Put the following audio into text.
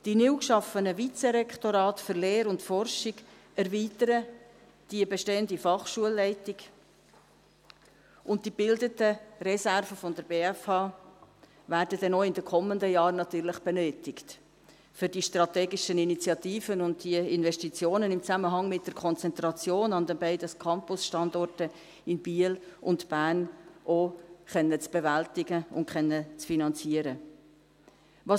Die neu geschaffenen Vizerektorate für Lehre und Forschung erweitern die bestehende Fachschulleitung, und die gebildeten Reserven der BFH werden dann auch in den kommenden Jahren benötigt, um die strategischen Initiativen und die Investitionen im Zusammenhang mit der Konzentration an den beiden Campusstandorten in Biel und Bern auch bewältigen und finanzieren zu können.